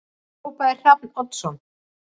Þá hrópaði Hrafn Oddsson